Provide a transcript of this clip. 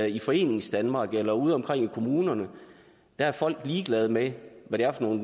i foreningsdanmark eller udeomkring i kommunerne er ligeglade med hvad det er for nogle